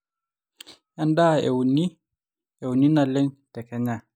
endaa euni euni naleng te kenya